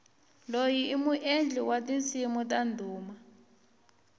loyi i muendli wa tinsimu ta ndhuma